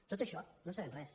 de tot això no en sabem res